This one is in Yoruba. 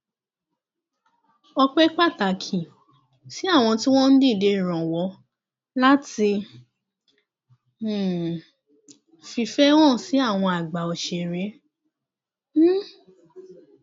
ọpẹ pàtàkì sí àwọn tí wọn ń dìde ìrànwọ láti um fìfẹ hàn sí àwọn àgbà òṣèré um